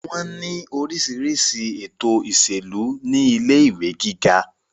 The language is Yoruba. wọ́n ní orísirísi ètò ìṣèlú ní ilé ìwé gíga